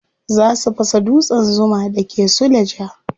Za su fasa dutsen zuma da ke suleja.